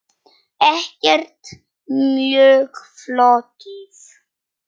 Ekkert mjög flókið.